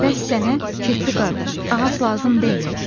Bəs sənə, kirpi qardaş, ağac lazım deyil?